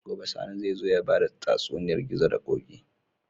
Gobe sani zai zo yabada tatsuniyar gizo da koki